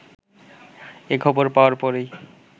এ খবর পাওয়ার পরই